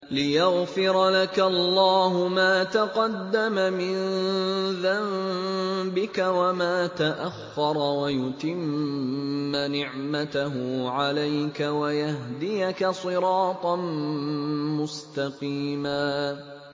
لِّيَغْفِرَ لَكَ اللَّهُ مَا تَقَدَّمَ مِن ذَنبِكَ وَمَا تَأَخَّرَ وَيُتِمَّ نِعْمَتَهُ عَلَيْكَ وَيَهْدِيَكَ صِرَاطًا مُّسْتَقِيمًا